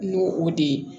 N'o o de ye